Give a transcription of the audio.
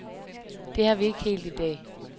Det har vi ikke helt i dag.